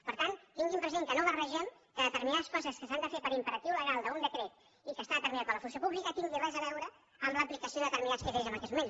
per tant tinguin present que no barregem que determinades coses que s’han de fer per imperatiu legal d’un decret i que està determinat per la funció pública tinguin res a veure amb l’aplicació de determinats criteris en aquests moments